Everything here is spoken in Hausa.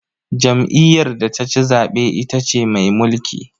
Jam'iyyar da ta ci zaɓe ita ce mai mulki.